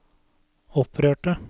opprørte